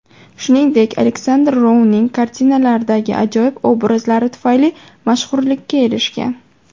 Shuningdek, Aleksandr Rouning kartinalaridagi ajoyib obrazlari tufayli mashhurlikka erishgan.